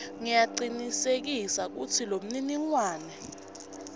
ngiyacinisekisa kutsi lomniningwane